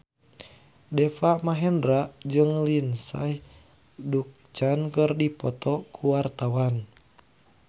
Deva Mahendra jeung Lindsay Ducan keur dipoto ku wartawan